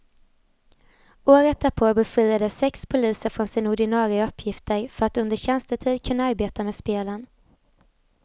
Året därpå befriades sex poliser från sina ordinare uppgifter för att under tjänstetid kunna arbeta med spelen.